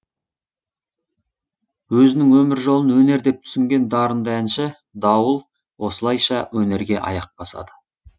өзінің өмір жолын өнер деп түсінген дарынды әнші дауыл осылайша өнерге аяқ басады